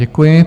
Děkuji.